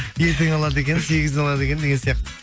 ертең алады екен сегізіне алады екен деген сияқты